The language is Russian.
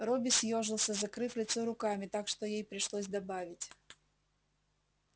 робби съёжился закрыв лицо руками так что ей пришлось добавить